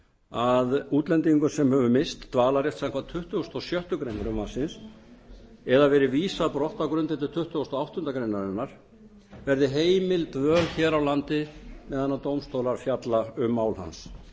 að útlendingi sem hefur misst dvalarrétt samkvæmt tuttugustu og sjöttu greinar frumvarpsins eða verið vísað brott á grundvelli tuttugasta og áttundu grein verði heimil dvöl hér á landi meðan dómstólar fjalla um mál hans